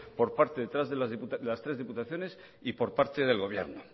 por parte de las tres diputaciones y por parte del gobierno